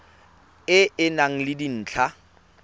e e nang le dintlha